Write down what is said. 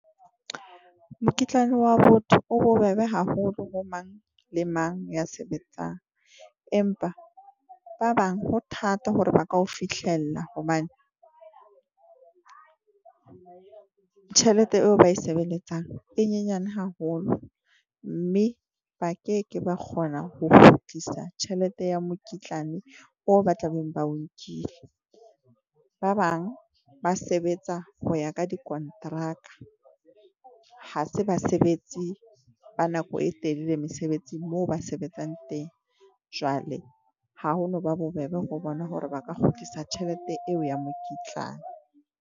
Mokitlane wa botho o bobebe haholo ho mang le mang ya sebetsang. Empa ba bang ho thata hore ba ka ho fihlella hobane tjhelete eo ba e sebeletsang e nyenyane haholo, mme ba ke ke ba kgona ho kgutlisa tjhelete ya mokitlane o ba tla beng ba o nkile. Ba bang ba sebetsa ho ya ka dikonteraka ha se basebetsi ba nako e telele mesebetsing, moo ba sebetsang teng jwale ha ho no ba bobebe ho bona hore ba ka kgutlisa tjhelete eo ya mokitlane.